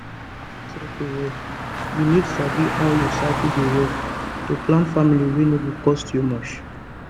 you sabi say to track your cycle well you need sabi how your cycle dey work to plan family wey no go cost you much